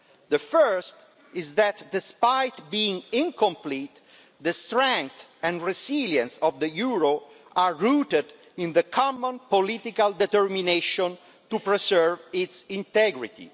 The first is that, despite being incomplete, the strength and resilience of the euro are rooted in the common political determination to preserve its integrity.